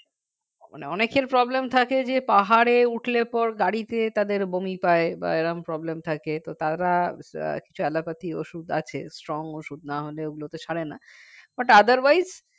মানে অনেকের problem থাকে যে পাহাড়ে উঠলে পর গাড়িতে তাদের বমি পায় বা এরকম problem থাকে তো তারা আহ কিছু allopathic ওষুধ আছে strong ওষুধ না হলে ওগুলোতে সারে না but otherwise